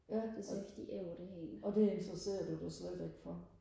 ja det godt og det interesserer du dig slet ikke for